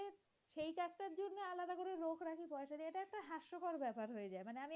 ব্যাপার হয়ে যায়।